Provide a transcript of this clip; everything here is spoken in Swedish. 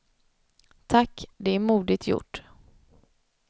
Tack, det är modigt gjort.